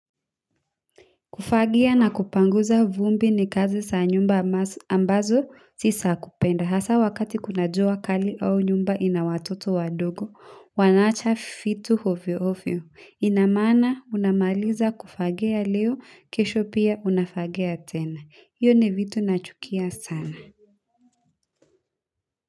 Kufagia na kupanguza vumbi ni kazi za nyumba ambazo si za kupenda hasa wakati kuna jua kali au nyumba ina watoto wadogo wanaacha vitu ovyo ovyo, inamaanisha unamaliza kufagia leo, kesho pia unafagia tena. Hiyo ni vitu nachukia sana.